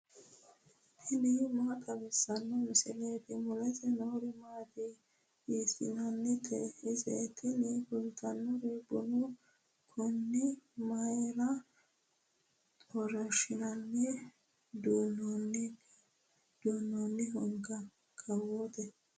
tini maa xawissanno misileeti ? mulese noori maati ? hiissinannite ise ? tini kultannori bunu kuni mayra xorshshine duunnoonnihoikka kawoote